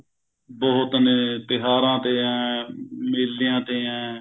ਬਹੁਤ ਨੇ ਤਿਉਹਾਰਾਂ ਤੇ ਹੈ ਮੇਲਿਆਂ ਤੇ ਹੈ